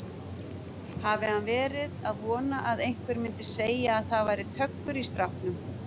Hafi hann verið að vona að einhver myndi segja að það væri töggur í stráknum!